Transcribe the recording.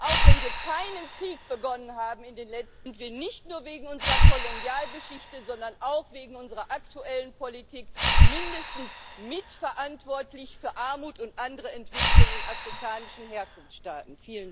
Auch wenn wir in den letzten Jahren keinen Krieg begonnen haben, sind wir nicht nur wegen unserer Kolonialgeschichte, sondern auch wegen unserer aktuellen Politik mindestens mitverantwortlich für Armut und andere Entwicklungen in afrikanischen Herkunftsstaaten.